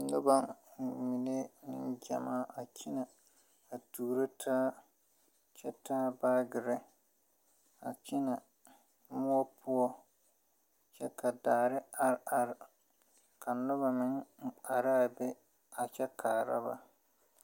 Noba mine neŋ gyammaa a kyinɛ a tuuro taa kyɛ taa baagirre a kyinɛ moɔ poɔ kyɛ ka daare are are ka noba meŋ araa be a kyɛ kaara ba.